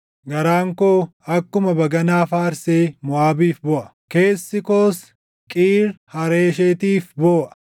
Garaan koo akkuma baganaa faarsee Moʼaabiif booʼa; keessi koos Qiir Hareeshetiif booʼa.